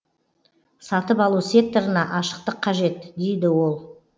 сатып алу секторына ашықтық қажет дейді ол